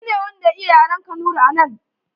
Shi ne wanda ya iya yaren Kanuri a nan.